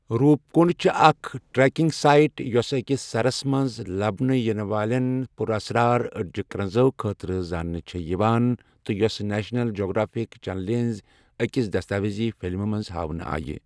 روٗپ کُنڈ چھےٚ اکھ trekking site, یۄسہٕ أکس سرس منٛز لبنہٕ ینہٕ والٮ۪ن پُراسرار أڑِجہِ كرنٛزو خٲطرٕ زانٛنہٕ چھےٚ یوان، تہٕ یۄس نیشنل جیوگرافک چینلہِ ہنزِ أکس دستاویزی فلمہِ منٛز ہٲونہٕ آیہِ ۔